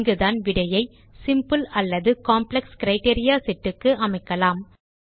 இங்கேதான் விடையை சிம்பிள் அல்லது காம்ப்ளெக்ஸ் கிரைட்டீரியா செட் க்கு அமைக்கலாம்